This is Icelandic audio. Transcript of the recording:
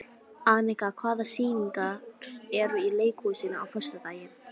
Anika, hvaða sýningar eru í leikhúsinu á föstudaginn?